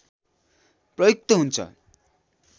प्रयुक्त हुन्छ